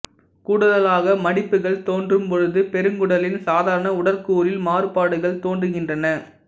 கூடுதலாக மடிப்புகள் தோன்றும் பொழுது பெருங்குடலின் சாதாரண உடற்கூறில் மாறுபாடுகள் தோன்றுகின்றன